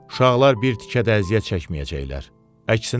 Uşaqlar bir tikə də əziyyət çəkməyəcəklər, əksinə.